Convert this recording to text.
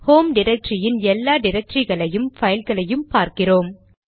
home டிரக்டரியின் எல்லா டிரக்டரிகளையும் பைல் களையும் பார்க்கிறோம்